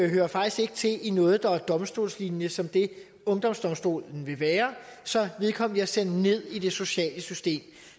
hører faktisk ikke til i noget der er domstolslignende som det ungdomsdomstolen vil være så vedkommende bliver sendt ned i det sociale system